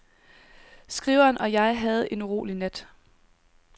Skriveren og jeg havde en urolig nat.